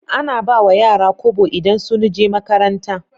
Ana ba wa yara kobo idan sun je makaranta